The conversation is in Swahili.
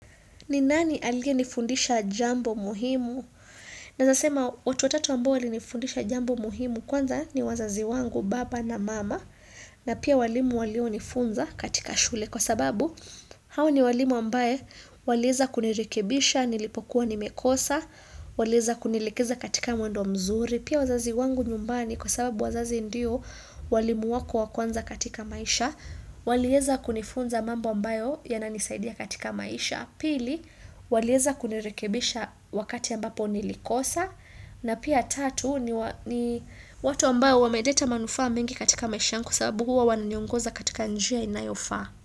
Ni nani alienifundisha jambo muhimu? Naeza sema watu watatu ambao walinifundisha jambo muhimu kwanza ni wazazi wangu baba na mama na pia walimu walionifunza katika shule kwa sababu hawa ni walimu ambaye walieza kunirikebisha, nilipokuwa nimekosa, walieza kunielekeza katika mwendo mzuri. Pia wazazi wangu nyumbani kwa sababu wazazi ndio walimu wako wakwanza katika maisha, walieza kunifunza mambo ambayo yananisaidia katika maisha. Pili walieza kunirekebisha wakati ambapo nilikosa na pia tatu ni watu ambayo wameleta manufaa mengi katika maisha yangu kwa sababu huwa wananiongoza katika njia inayofa.